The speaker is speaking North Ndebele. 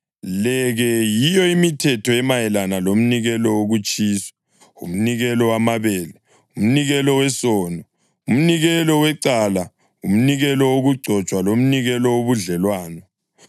Le-ke yiyo imithetho emayelana lomnikelo wokutshiswa, umnikelo wamabele, umnikelo wesono, umnikelo wecala, umnikelo wokugcotshwa lomnikelo wobudlelwano,